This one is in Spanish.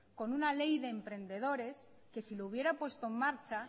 con una ley de emprendedores que si la hubiera puesta en marcha